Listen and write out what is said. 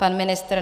Pan ministr?